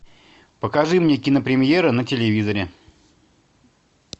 покажи мне кинопремьеры на телевизоре